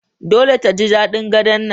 Dole ta ji daɗin Gadon nan